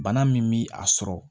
Bana min bi a sɔrɔ